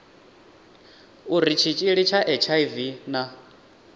uri tshitshili tsha hiv na